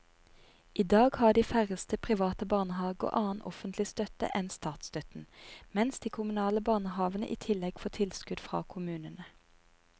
I dag har de færreste private barnehaver annen offentlig støtte enn statsstøtten, mens de kommunale barnehavene i tillegg får tilskudd fra kommunene.